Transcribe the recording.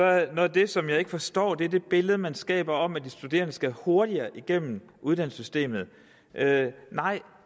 det som jeg ikke forstår det billede som man skaber om at de studerende skal hurtigere igennem uddannelsessystemet nej